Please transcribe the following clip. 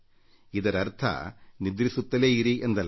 ಇದರರ್ಥ ನಿದ್ರಿಸುತ್ತಲೇ ಇರಿ ಎಂದಲ್ಲ